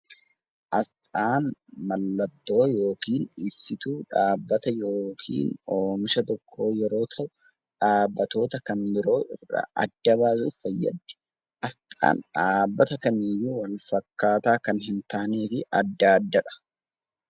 Asxaan mallattoo yookaan ibsituu dhaabbata oomisha tokkoo yeroo ta'u, dhaabbatoota kan biroo irraa adda baasuuf fayyaddi. Asxaan dhaabbata akkaataa oomisha akka hin taaneen addaa addadha.